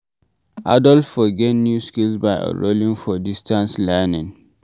Adult for get new skills by enrolling for distance learning